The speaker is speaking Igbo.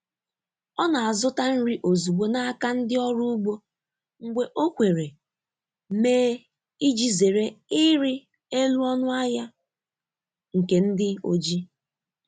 Ọ na-azụta nri ozugbo n’aka ndị ọrụ ugbo mgbe o kwere mee iji zere ịrị elu ọnụ ahịa nke ndị oji.